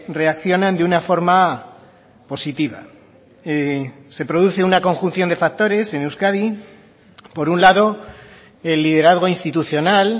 reaccionan de una forma positiva se produce una conjunción de factores en euskadi por un lado el liderazgo institucional